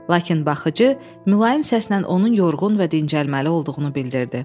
Lakin baxıcı mülayim səslə onun yorğun və dincəlməli olduğunu bildirdi.